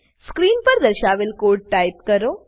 screen પર દર્શાવેલ code type કરો